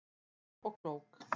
Klár og klók